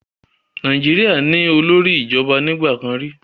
Nàìjíríà ní olórí ìjọba nígbà kan rí.